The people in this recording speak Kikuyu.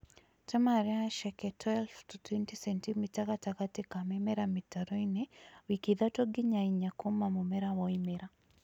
Tema harĩ haceke 12 20 sentimita gatagatĩ ka mĩmera mĩtaroinĩ ,wiki ithatu nginya inya kuuma mũmera woimĩra